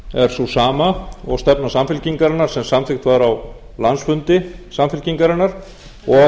er sú sama og stefna samfylkingarinnar sem samþykkt var á landsfundi samfylkingarinnar og